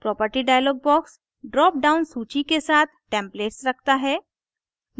property dialog box drop down सूची के साथ templates रखता है